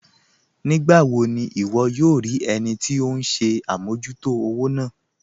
Nígbàwò ní wọ́ yòò rí ẹnì tí ọ̀hun ṣẹ̀ àmọ̀jútò òwò náà?